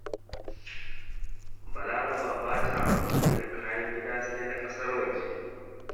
Balaraba ba ta amfani da kayan gida, sai na ƙasar waje